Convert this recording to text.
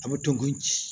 A bɛ dɔn ko ji